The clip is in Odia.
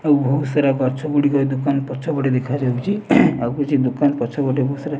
ଆଉ ଭୋଉତ୍ ସାରା ଗଛ ଗୁଡ଼ିକ ଦୋକାନ ପଛପଟେ ଦେଖାଯାଉଚି ଆଉ କିଛି ଦୋକାନ୍ ପଛପଟେ ଭୋଉତ୍ ସାରା --